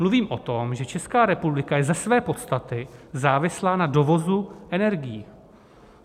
Mluvím o tom, že Česká republika je ze své podstaty závislá na dovozu energií.